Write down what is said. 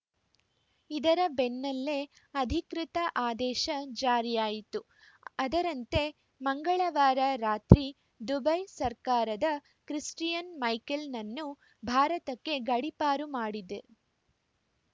ಇದರ ಬೆನ್ನಲ್ಲೇ ಅಧಿಕೃತ ಆದೇಶ ಜಾರಿಯಾಯಿತು ಅದರಂತೆ ಮಂಗಳವಾರ ರಾತ್ರಿ ದುಬೈ ಸರ್ಕಾರ ಕ್ರಿಸ್ಟಿಯನ್‌ ಮೈಕೆಲ್‌ನನ್ನು ಭಾರತಕ್ಕೆ ಗಡಿಪಾರು ಮಾಡಿದೆ